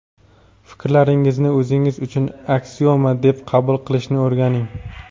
Fikrlaringizni o‘zingiz uchun aksioma deb qabul qilishni o‘rganing.